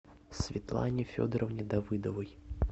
светлане федоровне давыдовой